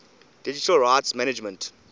digital rights management